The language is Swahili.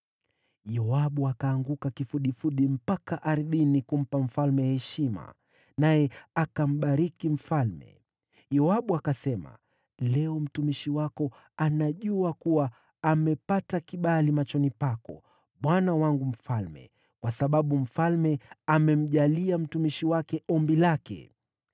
Yoabu akaanguka kifudifudi mpaka ardhini kumpa mfalme heshima, naye akambariki mfalme. Yoabu akasema, “Leo mtumishi wako anajua kuwa amepata kibali machoni pako, bwana wangu mfalme, kwa sababu mfalme amemjalia mtumishi wake ombi lake.”